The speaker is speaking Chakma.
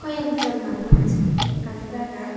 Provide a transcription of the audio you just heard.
hoi ekjon manuj ekkan jagat.